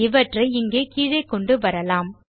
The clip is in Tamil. இவற்றை இங்கே கீழே கொண்டு வரலாம்